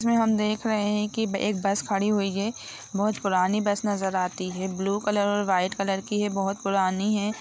इसमे हम देख रहे है कि एक बस खड़ी हुई है बहुत पुरानी बस नजर आती है ब्लू कलर और व्हाइट कलर की है बहुत पुरानी है।